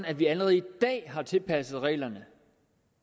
at vi allerede i dag har tilpasset reglerne